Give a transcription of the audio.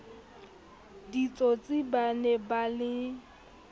ditsotsi ba ne ba le